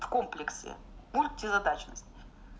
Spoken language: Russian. в комплексе мультизадачность